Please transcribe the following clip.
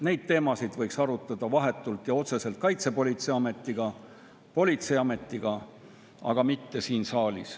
Neid teemasid võiks arutada vahetult ja otseselt Kaitsepolitseiametiga, politseiametiga, aga mitte siin saalis.